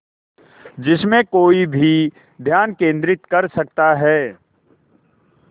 जिसमें कोई भी ध्यान केंद्रित कर सकता है